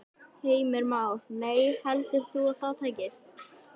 Heimir Már: Nei, heldur þú að það takist?